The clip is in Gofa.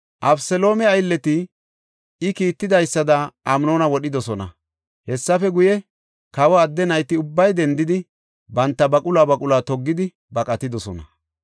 Abeseloome aylleti I kiittidaysada Amnoona wodhidosona. Hessafe guye, kawa adde nayti ubbay dendidi, banta baquluwa baquluwa toggidi baqatidosona.